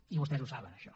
i vostès ho saben això